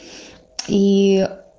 и